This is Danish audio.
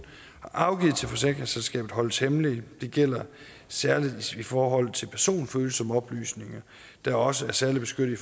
har afgivet til forsikringsselskabet holdes hemmelige og det gælder særlig i forhold til personfølsomme oplysninger der også er særlig beskyttet i